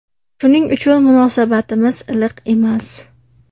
Shuning uchun munosabatimiz iliq emas.